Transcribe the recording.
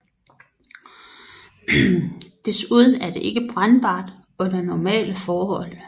Desuden er det ikke brændbart under normale forhold